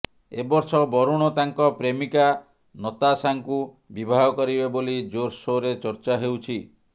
ଏବର୍ଷ ବରୁଣ ତାଙ୍କ ପ୍ରେମିକା ନତାଶାଙ୍କୁ ବିବାହ କରିବେ ବୋଲି ଜୋର ସୋରରେ ଚର୍ଚ୍ଚା ହେଉଛି